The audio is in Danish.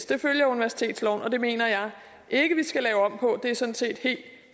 det følger universitetsloven og det mener jeg ikke vi skal lave om på og det er sådan set helt